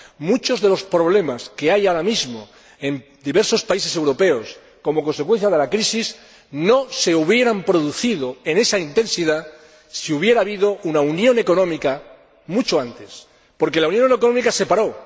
Muchos de los problemas que hay ahora mismo en diversos países europeos como consecuencia de la crisis no se habrían producido con esa intensidad si hubiera habido una unión económica mucho antes, porque la unión económica se paró.